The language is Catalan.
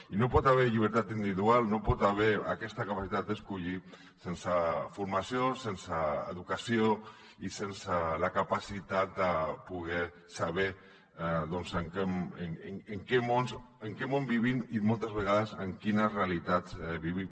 i no hi pot haver llibertat individual no hi pot haver aquesta capacitat d’escollir sense formació sense educació i sense la capacitat de poder saber doncs en quin món vivim i moltes vegades en quines realitats vivim